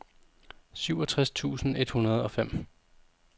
syvogtres tusind et hundrede og fem